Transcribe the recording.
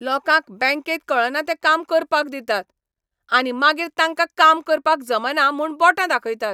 लोकांक बँकेंत कळना तें काम करपाक दितात, आनी मागीर तांकां काम करपाक जमना म्हूण बोटां दाखयतात.